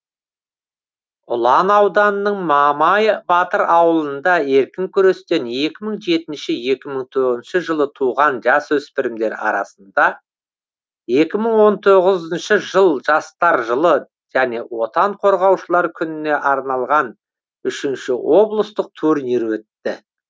ұлан ауданының мамай батыр ауылында еркін күрестен екі мың жетінші екі мың тоғызыншы жылы туған жасөспірімдер арасында екі мың он тоғызыншы жыл жастар жылы және отан қорғаушылар күніне арналған үшінші облыстық турнир өтті